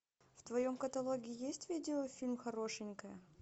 в твоем каталоге есть видеофильм хорошенькая